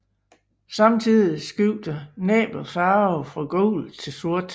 Samtidig skifter næbbet farve fra gult til sort